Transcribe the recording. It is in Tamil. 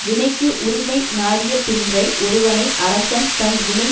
வினைக்கு உரிமை நாடிய பின்றை ஒருவனை அரசன் தன் வினை